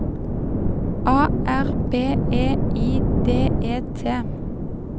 A R B E I D E T